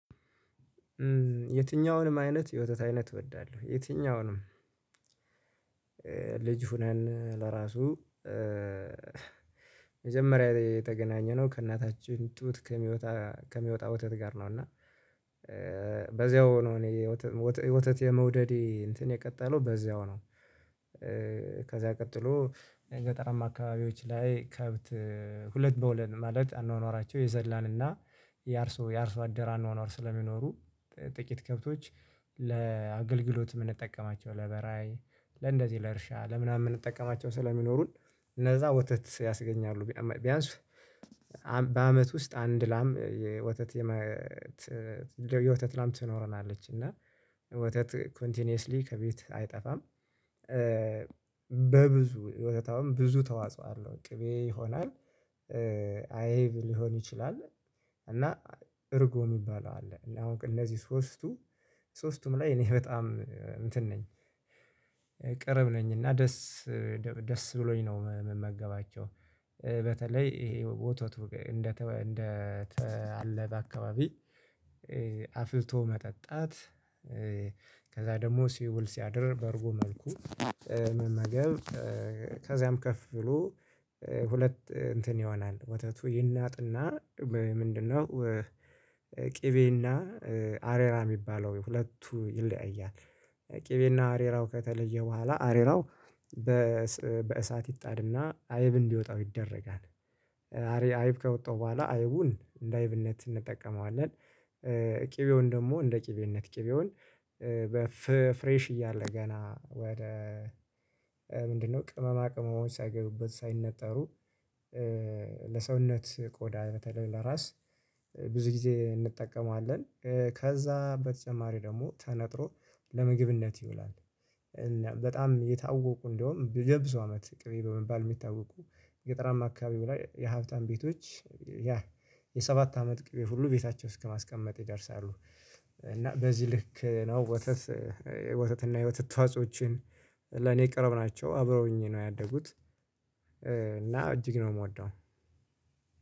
የትኛውንም አይነት የወተት አይነት እወዳለሁ። የትኛውንም ልጅ ሆነን ለራሱ መጀመሪያ የተገናኘነው ከእናታችን ጡት ከሚወጣ ከሚወጣ ወተት ጋር ነው። እና በዚያው ነው እኔ ወተት የመውደዴ እንትን የቀጠለው በዚያው ነው። ከዛ ቀጥሎ የገጠራማ አካባቢዎች ላይ ከብት ሁለት በሁለት ማለት አኗኗራቸው የዘላንና የአርሶ የአርሶ አደር አኗኗር ስለሚኖሩ ጥቂት ከብቶች ለአገልግሎት የምንጠቀማቸው ለበራይ ለእንደዚህ ለእርሻ ለምናምን የምንጠቀማቸው ስለሚኖሩን እነዛ ወተት ያስገኛሉ። ቢያንስ በአመት ውስጥ አንድ ላም የወተት የወተት ላም ትኖረናለች። እና ወተት ኮንቲኒየስሊ ከቤት አይጠፋም። በብዙ ወተት አሁን ብዙ ተዋጽኦ አለው። ቅቤ ይሆናል። አይብ ሊሆን ይችላል። እና እርጎ የሚባለው አለ። እና አሁን እነዚህ ሶስቱ ሶስቱም ላይ እኔ በጣም እንትን ነኝ፤ ቅርብ ነኝ። እና ደስ ብሎኝ ነው የምመገባቸው። በተለይ ይሄ ወተቱ እንደተአለበ አካባቢ አፍልቶ መጠጣት ከዛ ደግሞ ሲውል ሲያድር በእርጎ መልኩ መመገብ ከዚያም ከፍ ብሎ ሁለት እንትን ይሆናል። ወተቱ ይናጥና ምንድነው ቅቤና አሬራ የሚባለው ሁለቱ ይለያያል። ቅቤና አሬራው ከተለየ በኋላ አሬራው በእሳት ይጣድና አይብ እንዲወጣው ይደረጋል። አሪያ አይብ ከወጣው በኋላ አይቡን እንደ አይብነት እንጠቀመዋለን። ቅቤውን ደግሞ እንደ ቅቤነት። ቅቤውን በፍሬሽ እያለ ገና ወደ ምንድነው ቅመማ ቅመሞች ሳይገቡበት ሳይነጠሩ ለሰውነት ቆዳ በተለይ ለራስ ብዙ ጊዜ እንጠቀማለን። ከዛ በተጨማሪ ደግሞ ተነጥሮ ለምግብነት ይውላል። በጣም የታወቁ እንደውም የብዙ አመት ቅቤ በመባል የሚታወቁ ገጠራማ አካባቢ በላይ የሀብታም ቤቶች ያ የሰባት አመት ቅቤ ሁሉ ቤታቸው እስከማስቀመጥ ይደርሳሉ። እና በዚህ ልክ ነው ወተት ወተት እና የወተት ተዋጾዎችን ለኔ ቅርብ ናቸው፤ አብረውኝ ነው ያደጉት። እና እጅግ ነው የምወደው።